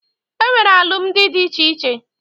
E nwere alụmalụ dị iche iche.